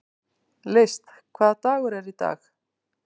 List, hvaða dagur er í dag?